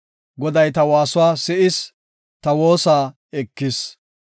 Goday ta waasuwa si7is; ta woosa ekis.